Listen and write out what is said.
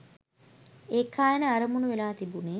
ඒකායන අරමුණු වෙලා තිබුනේ